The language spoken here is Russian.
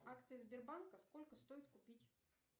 акции сбербанка сколько стоит купить